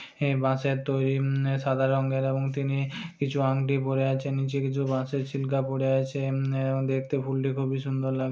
এই বাঁশের তৈরি উম সাদা রঙের এবং তিনি কিছু আংটি পরে আছেন নিচে কিছু বাঁশের ছিলকা পড়ে আছে এম দেখতে ফুলটি খুবই সুন্দর লা --